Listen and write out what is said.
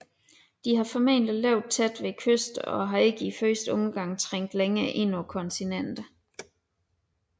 De har formentlig levet tæt ved kysterne og har ikke i første omgang trængt længere ind på kontinenterne